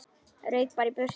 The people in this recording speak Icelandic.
Rauk bara í burtu.